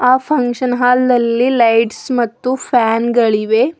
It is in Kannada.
ಆ ಫಂಕ್ಷನ್ ಹಾಲ್ ನಲ್ಲಿ ಲೈಟ್ಸ್ ಮತ್ತು ಫ್ಯಾನ್ ಗಳಿವೆ.